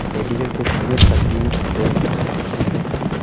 medical क्षेत्र में तकनीक बेहतर हो सकती है